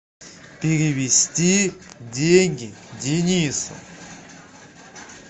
перевести деньги денису